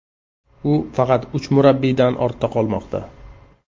U faqat uch murabbiydan ortda qolmoqda.